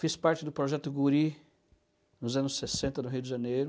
Fiz parte do Projeto Guri nos anos sessenta, no Rio de Janeiro.